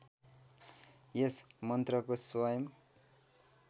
यस मन्त्रको स्वयम्